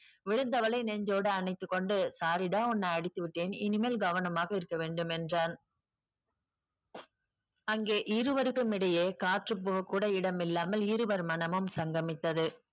விழுந்தவளை நெஞ்சோடு அணைத்துக்கொண்டு sorry டா உன்னை அடித்து விட்டேன் இனிமேல் கவனமாக இருக்க வேண்டும் என்றான் அங்கே இருவருக்கும் இடையே காற்று போகக் கூட இடமில்லாமல் இருவர் மனமும் சங்கமித்தது